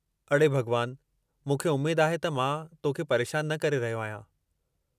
अड़े भॻवान! मूंखे उमेद आहे त मां तो खे परेशानु न करे रहियो आहियां।